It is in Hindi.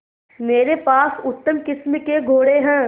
मेरे पास उत्तम किस्म के घोड़े हैं